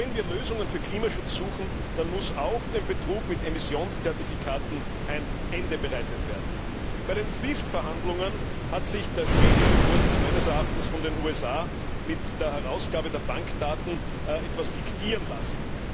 Wenn wir Lösungen für Klimaschutz suchen, dann muss auch dem Betrug mit Emissionszertifikaten ein Ende bereitet werden. Bei den SWIFT Verhandlungen hat sich der schwedische Vorsitz meines Erachtens von den USA mit der Herausgabe der Bankdaten etwas diktieren lassen.